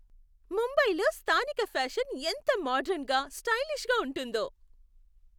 ముంబైలో స్థానిక ఫ్యాషన్ ఎంత మోడర్న్గా, స్టైలిష్గా ఉంటుందో.